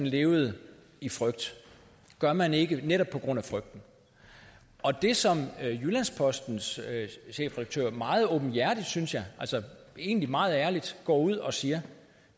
levede i frygt gør man ikke netop på grund af frygten det som jyllands postens chefredaktør meget åbenhjertigt synes jeg og egentlig meget ærligt går ud og siger